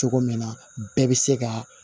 Cogo min na bɛɛ bɛ se ka